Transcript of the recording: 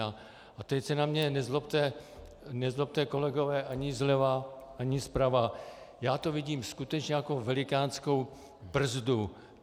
A teď se na mne nezlobte, kolegové ani zleva, ani zprava, já to vidím skutečně jako velikánskou brzdu.